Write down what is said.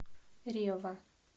рева